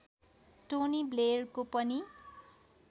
Tony ब्लेयरको पनि